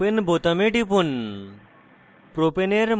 তারপর open বোতামে টিপুন